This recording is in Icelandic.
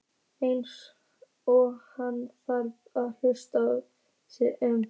Eins og hann þyrfti að hugsa sig um.